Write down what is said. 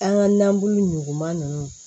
An ka nabu nɔgɔn ninnu